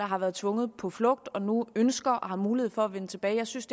har været tvunget på flugt og nu ønsker og har mulighed for at vende tilbage jeg synes